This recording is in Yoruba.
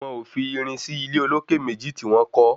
Wọn ò fi irin sí ilé olókè méjì tí wọ́n kọ́.